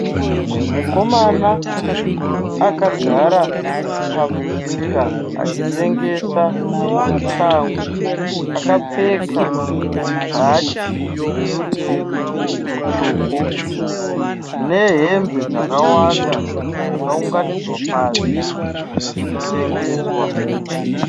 Mukomana akagara pamusika achitengesa shangu akapfeka bhachi rerudzi rutsvuku nehembe dzakawanda dzakaunganidzwa pasi dzirikutengeswa.